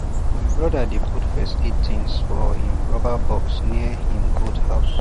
my brother dey put first aid things for um rubber box near um goat house